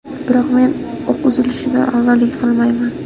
Biroq men o‘q uzilishidan avval yiqilmayman.